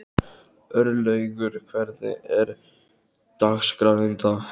Örlaugur, hvernig er dagskráin í dag?